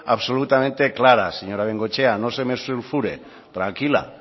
absolutamente clara señora bengoechea no se me sulfure tranquila